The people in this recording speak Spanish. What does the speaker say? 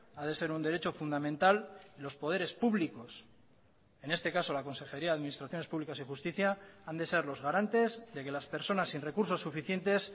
a de ser un derecho fundamental los poderes públicos en este caso la consejería de administraciones públicas y justicia han de ser los garantes de que las personas sin recursos suficientes